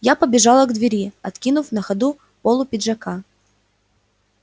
я побежал к двери откинув на ходу полу пиджака